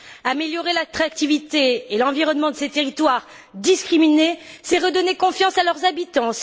Améliorer l'attractivité et l'environnement de ces territoires discriminés, c'est redonner confiance à leurs habitants.